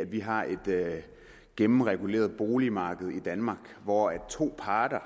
at vi har et gennemreguleret boligmarked i danmark hvor to parter